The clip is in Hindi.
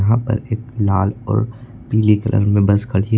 यहाँ पर एक लाल और पीले कलर में बस खड़ी है।